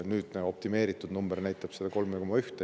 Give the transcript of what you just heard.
Nüüdne optimeeritud number on 3,1.